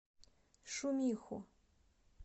шумиху